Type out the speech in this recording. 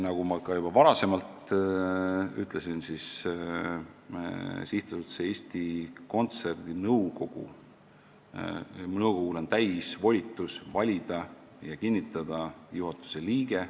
" Nagu ma ka juba varem ütlesin, siis SA Eesti Kontsert nõukogul on täisvolitus valida juhatuse liige ja kinnitada ta ametisse.